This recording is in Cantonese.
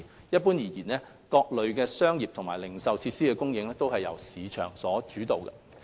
一般而言，各類商業及零售設施的供應須由市場主導。